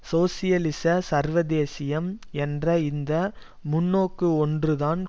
சோசியலிச சர்வதேசியம் என்ற இந்த முன்னோக்கு ஒன்றுதான்